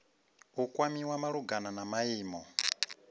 u kwamiwa malugana na maimo